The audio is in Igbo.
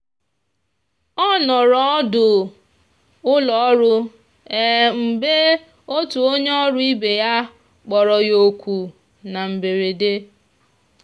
ọ nọrọ ọdụ ụlọọrụ mgbe otu onye ọrụ ibe ya kpọrọ ya oku na mberede.